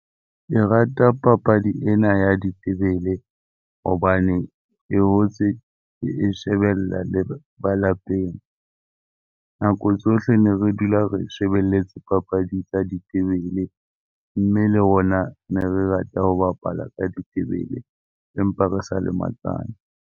Ke rata papadi ena ya ditebele hobane ke hotse ke e shebella le ba lapeng. Nako tsohle ne re dula re shebeletse papadi tsa ditebele mme le rona ne re rata ho bapala ka ditebele empa re sa lematsane.